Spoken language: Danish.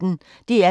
DR P1